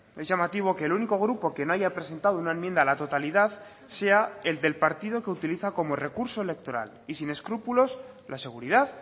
es llamativo que el único grupo que no haya presentado una enmienda a la totalidad sea el del partido que utiliza como recurso electoral y sin escrúpulos la seguridad